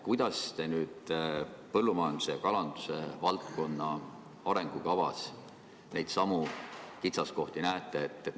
Kuidas te põllumajanduse ja kalanduse valdkonna arengukavas neidsamu kitsaskohti näete?